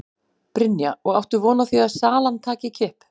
Brynja: Og áttu þá von á því að salan taki kipp?